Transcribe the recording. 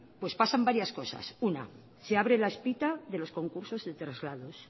pues pasan varias cosas una se abre la espita de los concursos de traslados